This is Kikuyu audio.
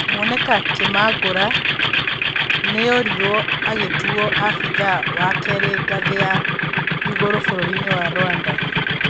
Mwoneka Kĩmangũra nĩoirwo agĩtuwoo abithaa wakerĩ ngathĩ ya igũrũbũrũrinĩ wa Rwanda.